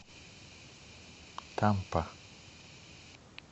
тампа